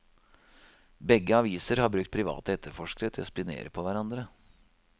Begge aviser har brukt private etterforskere til å spionere på hverandre.